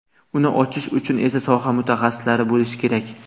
Uni ochish uchun esa soha mutaxassislari bo‘lishi kerak.